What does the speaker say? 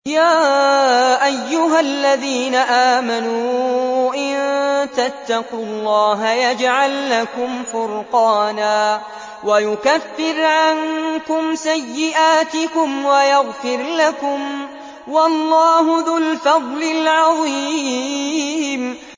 يَا أَيُّهَا الَّذِينَ آمَنُوا إِن تَتَّقُوا اللَّهَ يَجْعَل لَّكُمْ فُرْقَانًا وَيُكَفِّرْ عَنكُمْ سَيِّئَاتِكُمْ وَيَغْفِرْ لَكُمْ ۗ وَاللَّهُ ذُو الْفَضْلِ الْعَظِيمِ